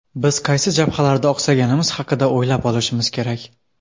Biz qaysi jabhalarda oqsaganimiz haqida o‘ylab olishimiz kerak.